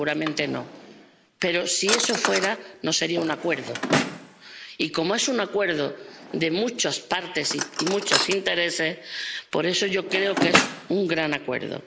Seguramente no, pero, si eso fuera así, no sería un acuerdo. Y, como es un acuerdo de muchas partes y muchos intereses, yo creo que es un gran acuerdo.